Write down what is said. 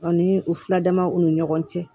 Aw ni u fila damaw ni ɲɔgɔn cɛ